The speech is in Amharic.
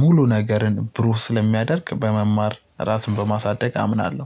ሙሉ ነገርን ብሩህ ስለሚያደርግ በመማር ራስን በማሳደግ አምናለሁ።